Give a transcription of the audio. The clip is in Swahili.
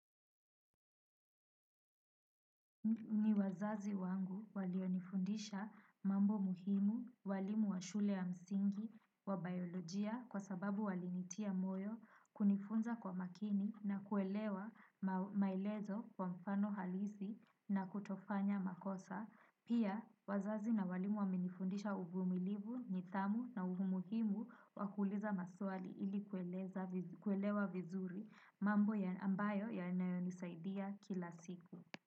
Ni wazazi wangu walionifundisha mambo muhimu walimu wa shule ya msingi wa biolojia kwa sababu walinitia moyo kunifunza kwa makini na kuelewa maelezo kwa mfano halisi na kutofanya makosa. Pia wazazi na walimu wamenifundisha uvumilivu, nithamu na umuhimu wa kuuliza maswali ili kuelewa vizuri mambo ya ambayo yanayonisaidia kila siku.